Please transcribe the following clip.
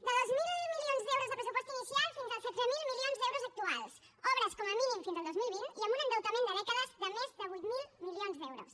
de dos mil milions d’euros de pressupost inicial fins al setze mil milions d’euros actuals obres com a mínim fins al dos mil vint i amb un endeutament de dècades de més de vuit mil milions d’euros